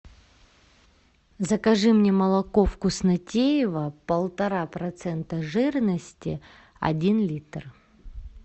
закажи мне молоко вкуснотеево полтора процента жирности один литр